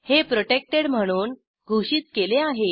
हे प्रोटेक्टेड म्हणून घोषित केले आहे